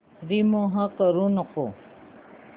remove करू नको